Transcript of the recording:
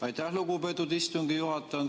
Aitäh, lugupeetud istungi juhataja!